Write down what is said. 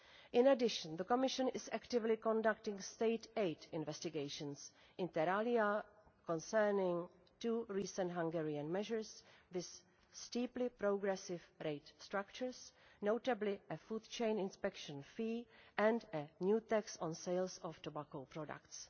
In addition, the Commission is actively conducting state aid investigations, inter alia concerning two recent Hungarian measures with steeply progressive rate structures, notably a food chain inspection fee and a new tax on sales of tobacco products.